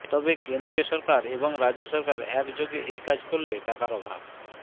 তবে কেন্দ্রীয় সরকার এবং রাজ্য সরকার একযোগে এই কাজ করলে টাকার অভাব